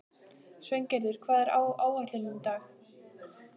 Sveingerður, hvað er á áætluninni minni í dag?